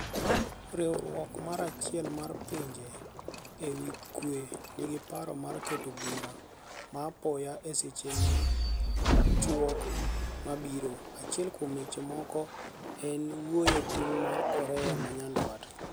Riwruok mar achiel mar pinje ewi kwe nigi paro mar keto bura ma apoya e seche machuok mabiro achiel kuom weche moko en wuoye tim mar Korea ma nyandwat.